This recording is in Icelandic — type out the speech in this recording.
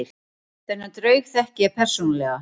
Þennan draug þekki ég persónulega.